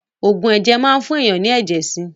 Ògùn ẹ̀jẹ̀ máa ń fún èèyàn ní ẹ̀jẹ̀ sí